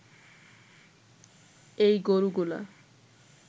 এই গরুগুলা